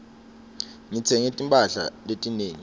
ngitsenge timphahla letinengi